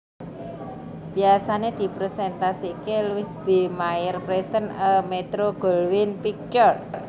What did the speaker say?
Biasané dipresentasiké Louis B Mayer presents a Metro Goldwyn picture